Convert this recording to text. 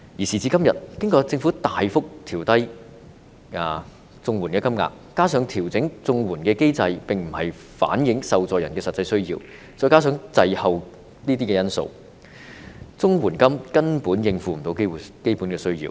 時至今天，經過政府大幅調低綜援金額，加上調整綜援的機制無法反映受助人的實際需要，再加上滯後等因素，綜援金根本無法應付基本的需要。